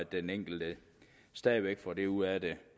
den enkelte stadig væk for det ud af det